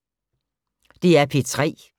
DR P3